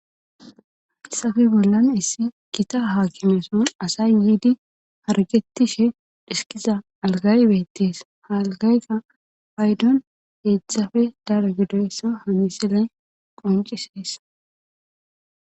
issafe bollan issi kita haa kineson asay yiidi hargettishe dhiskiza algaybettees halgayka paydon heedzedshafe dara gidoyssa hamiselen qonciseessa